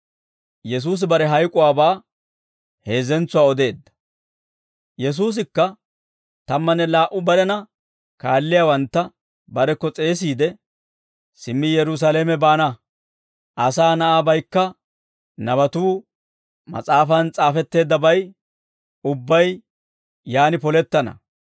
Yesuusikka tammanne laa"u barena kaalliyaawantta barekko s'eesiide, «Simmi Yerusaalame baana; Asaa Na'aabaykka nabatuu mas'aafan s'aafetteeddabay ubbay yaan polettana.